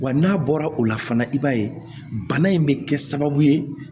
Wa n'a bɔra o la fana i b'a ye bana in bɛ kɛ sababu ye